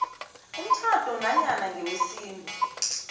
umtjhado nanyana ngewesintu